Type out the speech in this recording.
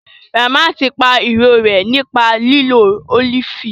Ramat pa irorẹ́ nípa lílo ólífì